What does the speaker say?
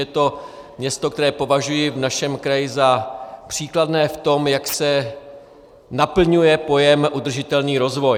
Je to město, které považuji v našem kraji za příkladné v tom, jak se naplňuje pojem udržitelný rozvoj.